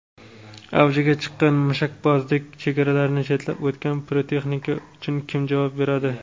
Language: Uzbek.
Avjiga chiqqan mushakbozlik: chegaralarni chetlab o‘tgan pirotexnika uchun kim javob beradi?.